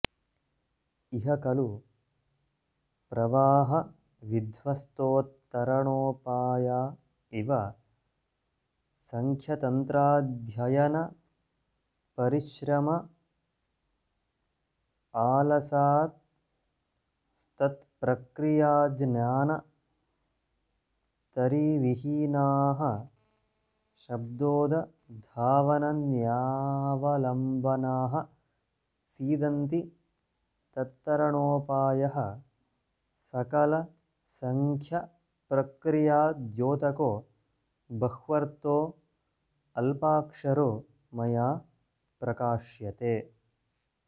इह खलु प्रवाहविध्वस्तोत्तरणोपाया इव सांख्यतन्त्राध्ययनपरिश्रमालसास्तत्प्रक्रियाज्ञानतरीविहीनाः शब्दोदधावनन्यावलम्बनाः सीदन्ति तत्तरणोपायः सकलसांख्यप्रक्रियाद्योतको बह्वर्थोऽल्पाक्षरो मया प्रकाश्यते